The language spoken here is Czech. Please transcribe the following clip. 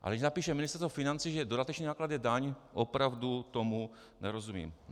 Ale když napíše Ministerstvo financí, že dodatečný náklad je daň, opravdu tomu nerozumím.